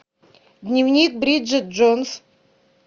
дневник бриджит джонс